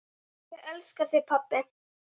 Ég elska þig, pabbi.